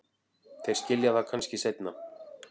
Þeir skilja það kannski seinna.